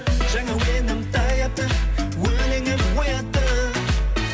жаңа әуенім таяпты өлеңім оятты